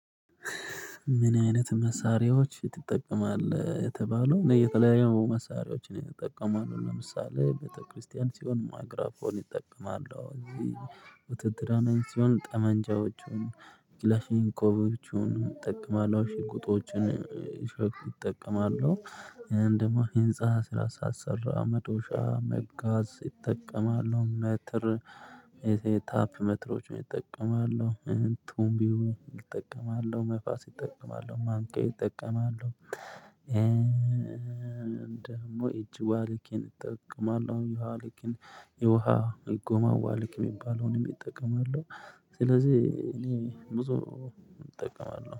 ምን አይነት መሳሪያዎች ትጠቀማለህ? የተባለው እና የተለያየ መሳሪያዎችን ይጠቀማሉ ለምሳሌ ቤተክርስቲያን ሲሆን ማግራፎን ይጠቀማሉ እዚህ ውድድር ሲሆን ጠመንጃዎቹን ኪላፊንኮቮቹን እጠቀማለሁ ሽጉጦቹን ሽግግር እጠቀማለሁ። እንደማህ ህንፃ ስላሳሰራ መዶሻ መጋዝ ይጠቀማሉ መትር ታፕ መትሮችን እጠቀማለሁ። ቱምቢው እጠቀማለሁ መፋስ ይጠቀማሉ ማንቄ ይጠቀማሉ። ደግሞ እጅ ዋሊኬን እጠቀማለሁ ዋሊኬን የውሃ እጎማዋሊኬ የሚባለውንም እጠቀማለሁ። ስለዚህ እኔ ብዙ እጠቀማለሁ